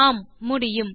ஆம் முடியும்